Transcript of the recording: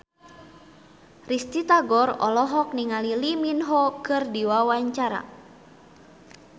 Risty Tagor olohok ningali Lee Min Ho keur diwawancara